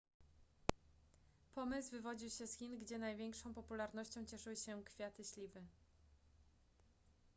pomysł wywodził się z chin gdzie największą popularnością cieszyły się kwiaty śliwy